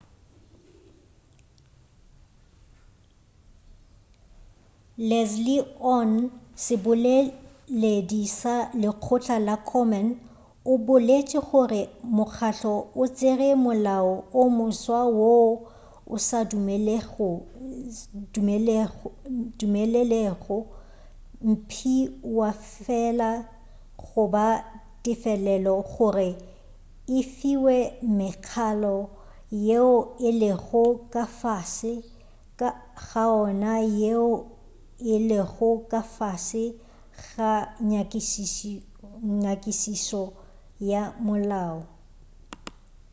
leslie aun seboleleldi sa lekgotla la komen o boletše gore mokgahlo o tšere molao o moswa woo o sa dumelelego mphiwafela goba tefelelo gore e fiwe mekhalo yeo e lego ka fase ga ona yeo e lego ka fase ga nyakišišo ya molao